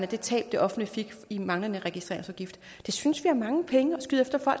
det tab det offentlige fik i manglende registreringsafgift det synes vi er mange penge